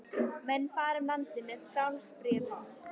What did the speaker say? Menn fara um landið með falsbréfum.